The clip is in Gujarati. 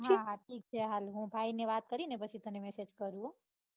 હા હા ઠીક છે. હાલ હું ભાઈ ને વાત કરીને પછી તને message કરું હો.